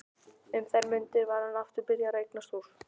Um þær mundir var hann aftur byrjaður að eignast hús.